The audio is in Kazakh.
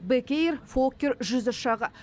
бек эйр фоккер жүз ұшағы